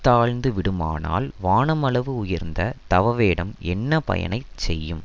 தாழ்ந்து விடுமானால் வானம் அளவு உயர்ந்த தவவேடம் என்ன பயனைச் செய்யும்